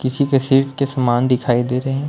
किसी किसी के समान दिखाई दे रहे हैं।